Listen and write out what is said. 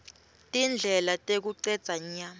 tindlela tekucedza nya